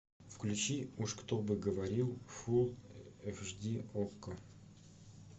включи уж кто бы говорил фул эйч ди окко